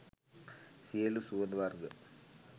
සියලු සුවඳ වර්ග